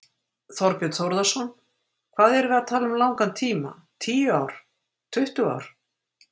Þorbjörn Þórðarson: Hvað erum við að tala um langan tíma, tíu ár, tuttugu ár?